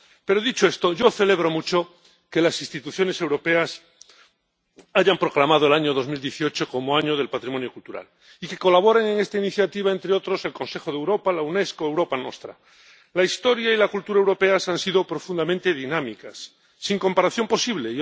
Pero dicho esto, yo celebro mucho que las instituciones europeas hayan proclamado el año 2018 como Año Europeo del Patrimonio Cultural y que colaboren en esta iniciativa, entre otros, el Consejo de Europa, la Unesco o Europa Nostra. La historia y la cultura europeas han sido profundamente dinámicas, sin comparación posible.